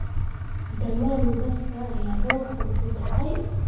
Dhammaan dharka ayaa robku ku da'ay